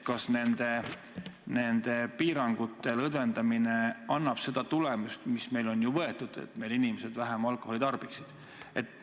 Kas nende piirangute lõdvendamine annab seda tulemust, mis meil on ju võetud, et meie inimesed vähem alkoholi tarbiksid?